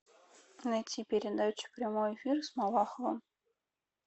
найти передачу прямой эфир с малаховым